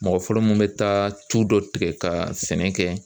Mɔgɔ fɔlɔ mun bɛ taa tulu dɔ tigɛ ka sɛnɛ kɛ